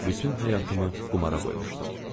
Bütün həyatımı qumara qoymuşdum.